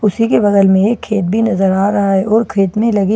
उसीके बगल में एक खेत बी नजर आ रहा हैं और खेत में लगी रेलिंग बी--